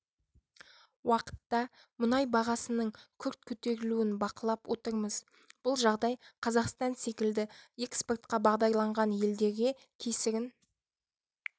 уақытта мұнай бағасының күрт көтерілуін бақылап отырмыз бұл жағдай қазақстан секілді экспортқа бағдарланған елдерге кесірін